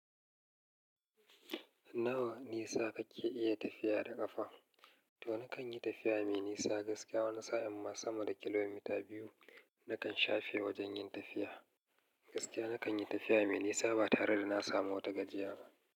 Nawa nisa kake iya tafiya da ƙafa? To nakan yi tafiya mai nisa gaskiya wani sa'in ma sama da kilomita biyu nakan shafe wajen yin tafiya. Gaskiya nakan yi tafiya mai nisa ba tare da na samu wata gajiya ba.